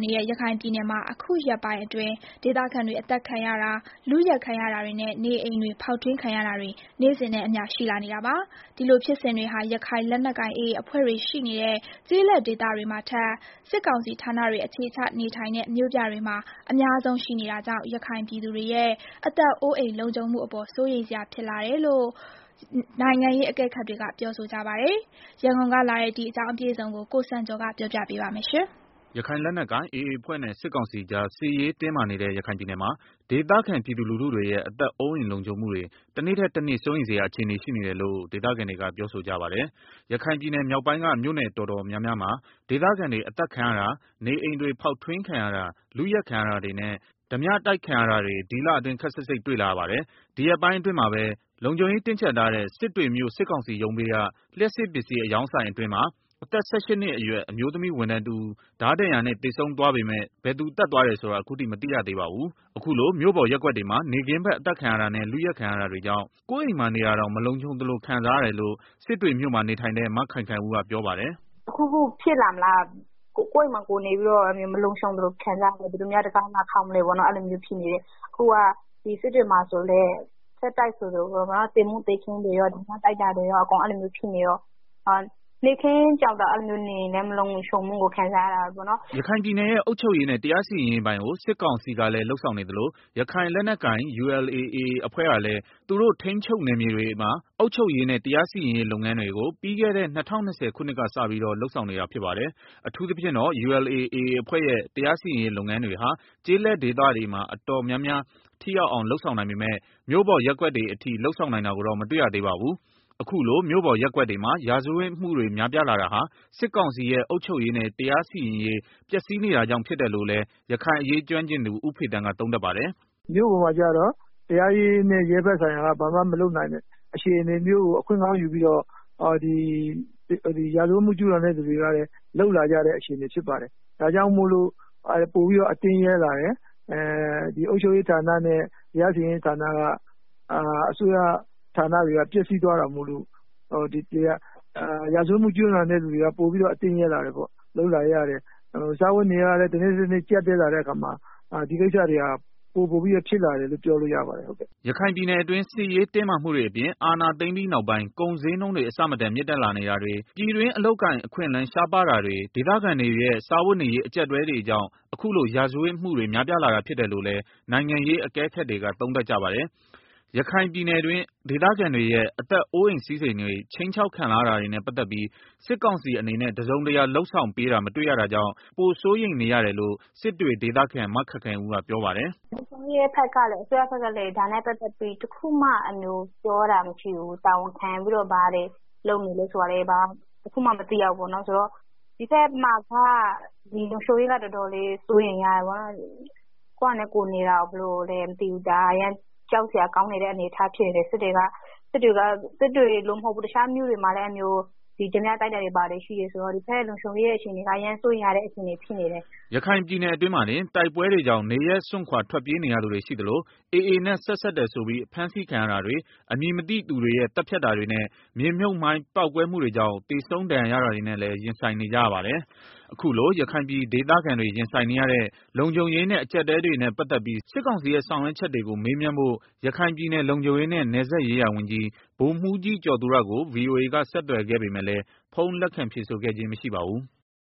နေတဲ့ရခိုင်ပြည်နယ်မှာ အခုရက်ပိုင်းအတွင်း ဒေသခံတွေအသတ်ခံရတာ၊ လုယက်ခံရတာတွေနဲ့ နေအိမ်တွေဖောက်ထွင်းခံရတာတွေ နေ့စဉ်နဲ့အမျှ ရှိလာနေတာပါ။ ဒီလိုဖြစ်စဉ်တွေဟာ ရခိုင်လက်နက်ကိုင် AA အဖွဲ့တွေရှိနေတဲ့ ကျေးလက်ဒေသတွေမှာထက် စစ်ကောင်စီဌာနတွေအခြေချ နေထိုင်တဲ့ မြို့ပြတွေမှာအများ ဆုံးရှိနေတာကြောင့် ရခိုင်ပြည်သူတွေရဲ့ အသက်အိုးအိမ်လုံခြုံမှုအပေါ် စိုးရိမ်စရာဖြစ်လာတယ်လို့ နိုင်ငံရေးအကဲခတ်တွေက ပြောဆိုကြပါတယ်။ ရန်ကုန်ကလာတဲ့ ဒီအကြောင်းအပြည့်အစုံကိုတော့ ကိုစံကျော်က တင်ပြပေးထားပါတယ်။ ရခိုင်လက်နက်ကိုင် AA အဖွဲ့နဲ့ စစ်ကောင်စီကြားစစ်ရေးတင်းမာနေတဲ့ ရခိုင်ပြည်နယ်မှာ ဒေသခံပြည်သူလူတွေရဲ့ အသက်အိုးအိမ်လုံခြုံမှုတွေ တနေ့ထက်တနေ့ စိုးရိမ်စရာ အခြေအနေရှိနေတယ်လို့ ဒေသခံတွေက ပြောဆိုကြပါတယ်။ ရခိုင်ပြည်နယ်မြောက်ပိုင်းက မြို့နယ်တော်တော်များများမှာ ဒေသခံတွေအသတ်ခံရတာ၊ နေအိမ်တွေ ဖောက်ထွင်းခံရတာ၊ လုယက်ခံရတာတွေနဲ့ ဓားပြတိုက်ခံရတာတွေ ဒီလအတွင်း ခပ်စိပ်စိပ်တွေ့လာရပါတယ်။ ဒီရက်ပိုင်းအတွင်းမှာပဲ လုံခြုံရေးတင်းကြပ်ထားတဲ့ စစ်တွေမြို့ စစ်ကောင်စီရုံးဘေးက လျှပ်စစ်ပစ္စည်း အရောင်းဆိုင်အတွင်း အသက် ၁၈ နှစ်ရွယ် အမျိုးသမီး ဝန်ထမ်းတဦး ဓားဒဏ်ရာနဲ့ သေဆုံးသွားပေမယ့် ဘယ်သူသတ်သွားတယ်ဆိုတာ အခုထိ မသိသေးပါဘူး။ အခုလို မြို့ပေါ်ရပ်ကွက်တွေမှာ နေ့ခင်းဘက် အသတ်ခံရတာနဲ့ လုယက်ခံရတာတွေကြောင့် ကိုယ့်အိမ်မှာနေတာတောင် မလုံခြုံသလို ခံစားရတယ်လို့ စစ်တွေ မြို့မှာ နေထိုင်တဲ့ မခိုင်ခိုင်ဦးကပြောပါတယ်။ “တခုခုဖြစ်မှာလား ကိုယ့်အိမ်မှာကိုယ်နေပြီးတော့ မလုံခြုံသလို ခံစားနေရတယ်၊ ဘယ်သူများ တံခါးလာခေါက်မလဲပေါ့၊ အခုက စစ်တွေမှာဆိုရင်လည်း ဆက်တိုက်ဆိုသလို သေမှုသေခင်းတွေ၊ ဓားပြတိုက်တာတွေ ဖြစ်နေတော့ နေ့ခင်းဘက် နေရင်တောင် လုံခြုံတယ်လို့ မခံစားရဘူး။” ရခိုင်ပြည်နယ်ရဲ့ အုပ်ချုပ်ရေးနဲ့ တရားစီရင်ရေးပိုင်းကို စစ်ကောင်စီကလည်း လုပ်ဆောင်နေသလို ရခိုင်လက်နက်ကိုင် ULA/AA အဖွဲ့ကလည်း သူတို့ထိန်းချုပ်နယ်မြေတွေမှာအုပ်ချုပ်ရေးနဲ့ တရားစီရင်ရေးလုပ်ငန်းတွေကို ပြီးခဲ့တဲ့ ၂၀၂၀ ခုနှစ်က စပြီးတော့ လုပ်ဆောင်နေတာဖြစ်ပါတယ်။ အထူးသဖြင့်တော့ ULA/AA အဖွဲ့ရဲ့ တရားစီရင်ရေးလုပ်ငန်းတွေဟာ ကျေးလက်ဒေသတွေမှာ တော်တော်များများ ထိရောက်အောင်လုပ်ဆောင်နိုင်ပေမယ့် မြို့ပေါ်ရပ်ကွက်တွေအထိ လုပ်ဆောင်နိုင်တာကိုတော့ မတွေ့ရသေးပါဘူး။ အခုလို မြို့ပေါ်ရပ်ကွက်တွေမှာ ရာဇဝတ်မှုတွေများပြားလာတာဟာ စစ်ကောင်စီရဲ့ အုပ်ချုပ်ရေးနဲ့တရားစီရင်ရေး ပျက်စီးနေတာကြောင့် ဖြစ်တယ်လို့လည်း ရခိုင်အရေးကျွမ်းကျင်သူ ဦးဖေသန်းက သုံးသပ်ပါတယ်။ “မြို့ပေါ်မှာကျတော့ တရားရေးနဲ့ ရဲဘက်ဆိုင်ရာက ဘာမှမလုပ်နိုင်တဲ့ အခြေအနေကို အခွင့်ကောင်းယူပြီးတော့ ရာဇဝတ်မှု ကျူးလွန် သူတွေက အခွင့်ကောင်းယူပြီးတော့ လုပ်လာကြတာ ဖြစ်တယ်။ ဒါကြောင့် ပိုပြီးတော့ အတင့်ရဲလာတယ်၊ အုပ်ချုပ်ရေးနဲ့ တရားစီရင်ရေး အစိုးရကဏ္ဍက ပျက်စီးသွားတာမို့လို့ ရာဇဝတ်မှုကျူးလွန်တဲ့ သူတွေက ပိုပြီးတော့ အတင့်ရဲလာတာပေါ့။ စားဝတ်နေရေးကလည်း တနေ့ထက်တနေ့ ပိုပြီးတော့ ကြပ်တည်း လာတော့ ဒီကိစ္စတွေ ပိုများလာတာပေါ့။” ရခိုင်ပြည်နယ်အတွင်း စစ်ရေးတင်းမာမှုတွေအပြင် အာဏာသိမ်းပြီးနောက်ပိုင်း ကုန်းဈေးနှုန်းတွေ အဆမတန် မြင့်တက်လာနေတာတွေ၊ ပြည်တွင်း အလုပ်အကိုင် အခွင့်အလမ်း ရှားပါးတာတွေ၊ ဒေသခံတွေရဲ့ စားဝတ်နေရေး အကြပ်အတည်းတွေကြောင့် အခုလို ရာဇဝတ်မှုတွေ များပြားလာတာဖြစ်တယ်လို့လည်း နိုင်ငံရေးအကဲခတ်တွေက သုံးသပ်ကြပါတယ်။ ရခိုင်ပြည်တွင်း ဒေသခံတွေရဲ့ အသက်အိုးအိမ်စည်းစဉ်တွေ ခြိမ်းခြောက်ခံ လာရတာတွေနဲ့ ပတ်သတ်ပြီး စစ်ကောင်စီအနေနဲ့ တစုံတရာလုပ်ဆောင်ပေးတာ မတွေ့ရတာကြောင့် တနေ့ထက်တနေ့ ပိုစိုးရိမ်နေရတယ်လို့ စစ်တွေဒေသခံ မခိုင်ခိုင်ဦး ကပြောပါတယ်။ “ လုံခြုံရေးနဲ့ ပတ်သတ်ပြီး အစိုးရဖက်ကလည်းတခုမှ လုပ်ပေးတာမရှိဘူး။ တာဝန်ခံပြီးတော့ ဘာတွေ လုပ်နေလဲ ဆိုတာလည်း တခုမှမသိရဘူး။ ဒီဖက်မှာ လုံခြုံရေးက တော်တေ်ာလေးစိုး ရိမ်ရတယ်။ ကိုယ်ဟာနဲ့ ကိုယ် နေတာတောင်မှ ဘယ်လိုမှန်းမသိဘူး အရမ်းကြောက် စရာကောင်းတယ်။ စစ်တွေမှ မဟုတ်ပါဘူး။ တခြား မြို့နယ်တွေမှာလည်း အဲလိုမျိုး ဓားပြတိုက်တာတွေ ဘာတွေရှိတယ်ဆိုတော့လေ၊ ကိုယ့်ရဲ့ လုံခြုံရေး အခြေအနေက တော်တေ်ာစိုးရိမ်ရတဲ့ အခြေအနေဖြစ်နေတယ်။” ရခိုင်ပြည်နယ်အတွင်းမှာတင် တိုက်ပွဲတွေကြောင့် နေရပ်စွန့်ခွာ ထွက်ပြေးနေရသူတွေ ရှိသလို AA နဲ့ဆက်စပ်တယ်ဆိုပြီး ဖမ်းဆီးခံရတာတွေ၊ အမည်မသိသူတွေရဲ့ သတ်ဖြတ်တာတွေနဲ့ မြေမြုပ်မှိုင်း ပေါက်ကွဲမှုတွေကြောင့် သေဆုံး ဒဏ်ရာရတာတွေနဲ့လည်း ရင်ဆိုင်နေကြရပါတယ်။ အခုလို ရခိုင်ပြည်ဒေသခံတွေရင်ဆိုင်နေရတဲ့ လုံခြုံရေးနဲ့ အကြပ်အတည်းတွေနဲ့ ပတ်သတ်ပြီးစစ်ကောင်စီရဲ့ ဆောင်ရွက်ချက်တွေကို မေးမြန်းဖို့ ရခိုင်ပြည်နယ် လုံခြုံရေးနဲ့ နယ်စပ်ရေးရာဝန်ကြီး ဗိုလ်မှူးကြီး ကျော်သူရကို ဗွီအိုအေက ဆက်သွယ်ခဲ့ပေမယ့်လည်း ဖုန်းလက် ခံဖြေဆိုခဲ့ခြင်း မရှိပါဘူး။